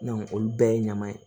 olu bɛɛ ye ɲaman ye